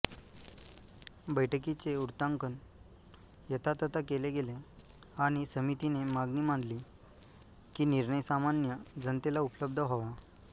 बैठीकीचे वृत्तांकन यथातथा केले गेले आणि समितीने मागणी मानली कि निर्णय सामान्य जनतेला उपलब्ध व्हावा